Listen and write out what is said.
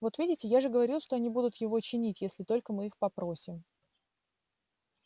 вот видите я же говорил что они будут его чинить если только мы их попросим